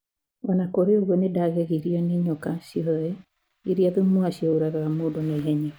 O na kũrĩ ũguo, nĩ ndagegirio nĩ nyoka ciothe iria thumu wacio ũragaga mũndũ na ihenya.